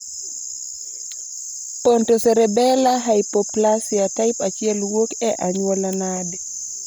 Pontocerebellar hypoplasia type 1 wuok e anyuola nade